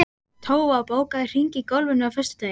Tófa, bókaðu hring í golf á föstudaginn.